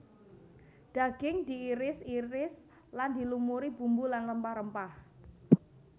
Daging diiris iris lan dilumuri bumbu lan rempah rempah